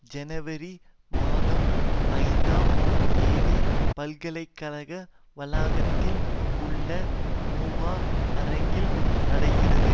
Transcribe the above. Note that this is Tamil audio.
ஜனவரி மாதம் ஐந்தாம் தேதி பல்கலை கழக வளாகத்தில் உள்ள மூவா அரங்கில் நடகிறது